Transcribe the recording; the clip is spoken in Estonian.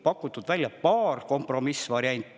Pakuti välja ka paar kompromissvarianti.